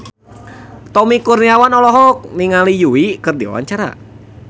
Tommy Kurniawan olohok ningali Yui keur diwawancara